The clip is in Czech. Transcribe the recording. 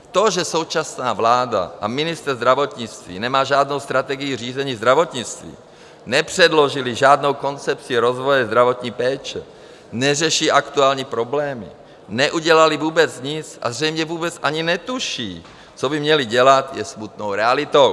To, že současná vláda a ministr zdravotnictví nemají žádnou strategii řízení zdravotnictví, nepředložili žádnou koncepci rozvoje zdravotní péče, neřeší aktuální problémy, neudělali vůbec nic a zřejmě vůbec ani netuší, co by měli dělat, je smutnou realitou.